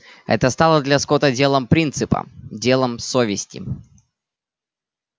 это стало для скотта делом принципа делом совести